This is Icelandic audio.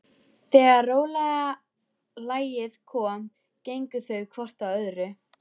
Þegar rólega lagið kom gengu þau hvort að öðru.